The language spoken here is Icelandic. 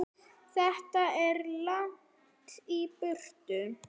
Þetta er langt í burtu.